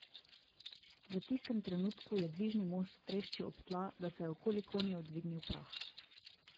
V tistem trenutku je dvižni most treščil ob tla, da se je okoli konjev dvignil prah.